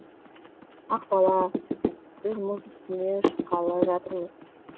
ақбала біз мұз үстіне шыққалы жатырмыз